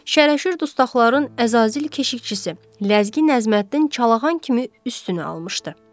Şərəşir dustaqların əzazil keşiqçisi Ləzgi Nəjməddin Çalağa kimin üstünü almışdı.